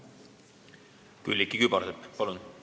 Külliki Kübarsepp, palun!